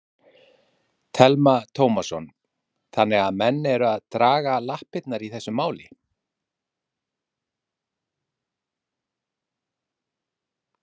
Telma Tómasson: Þannig að menn eru að draga lappirnar í þessu máli?